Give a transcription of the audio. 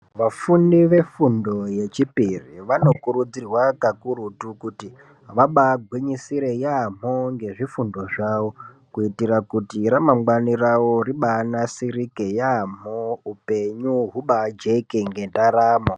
Vafundi vefundo yechipiri vanokurudzirwa kakurutu kuti vabaagwinyisire ngezvifundo zvavo kuitire kuti ramangwana ravo ribaasirike yaamho upenyu hubaajeke ngendaramo.